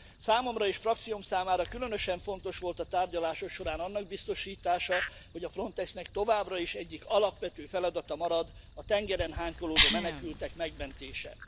Számomra és frakcióm számára különösen fontos volt a tárgyalások során annak biztosítása, hogy a Frontexnek továbbra is egyik alapvető feladata marad a tengeren hánykolódó menekültek megmentése.